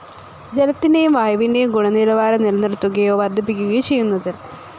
ജലത്തിന്റേയും വായുവിന്റേയും ഗുണനിലവാരം നിലനിർത്തുകയ്യോ വർധിപ്പിക്കുകയോ ചെയ്യുന്നതിൽ